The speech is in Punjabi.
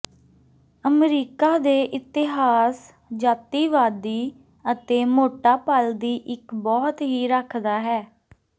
ਅਮਰੀਕਾ ਦੇ ਇਤਿਹਾਸ ਜਾਤੀਵਾਦੀ ਅਤੇ ਮੋਟਾ ਪਲ ਦੀ ਇੱਕ ਬਹੁਤ ਹੀ ਰੱਖਦਾ ਹੈ